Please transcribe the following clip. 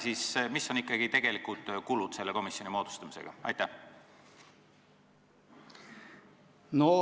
Missugused on ikkagi selle komisjoni moodustamise tegelikud kulud?